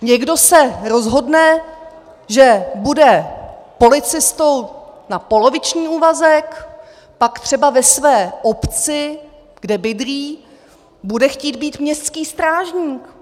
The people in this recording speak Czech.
Někdo se rozhodne, že bude policistou na poloviční úvazek, pak třeba ve své obci, kde bydlí, bude chtít být městským strážníkem.